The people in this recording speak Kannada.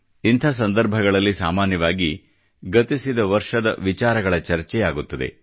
ಇಂಥ ಸಂದರ್ಭಗಳಲ್ಲಿ ಸಾಮಾನ್ಯವಾಗಿ ಗತಿಸಿದ ವರ್ಷದ ವಿಚಾರಗಳ ಚರ್ಚೆಯಾಗುತ್ತದೆ